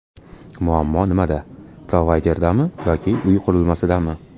Muammo nimada: provayderdami yoki uy qurilmasidami?